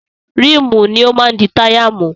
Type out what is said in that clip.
Ríìmù ni ó máa di táyà mú.